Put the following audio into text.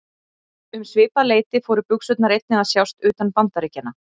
Um svipað leyti fóru buxurnar einnig að sjást utan Bandaríkjanna.